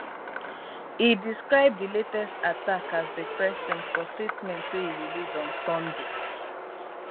e describe di latest attack as depressing for statement wey e release on sunday